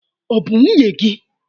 Ọ bụ nwunye gị?